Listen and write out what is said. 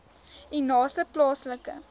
u naaste plaaslike